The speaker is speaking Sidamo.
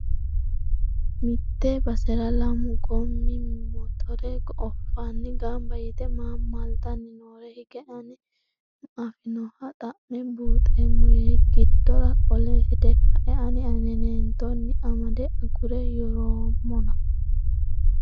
Mite basera lamu gomi mottore oofano gamba yte maa maltanni nooro hige ayi afinoha xa'me buuxeemmo yee giddora qole hede kae ani anetettonni amade agura yoroommonna.